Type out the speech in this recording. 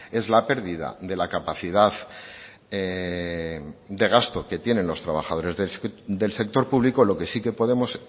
es la pérdida de la capacidad de gasto que tienen los trabajadores del sector público lo que sí que podemos